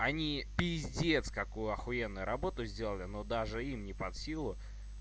они пиздец какую ахуенно работу сделали но даже им не под силу